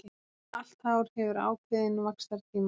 Allt hár hefur ákveðinn vaxtartíma.